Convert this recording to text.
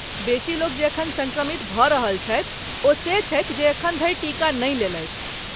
बेसी लोक जे एखन सङ्क्रमित भऽ रहल छथि ओ से छथि जे एखन धरि टीका नहि लेलथि।